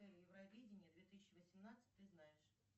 евровидение две тысячи восемнадцать ты знаешь